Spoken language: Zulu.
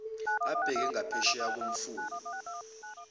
abheke ngaphesheya komfula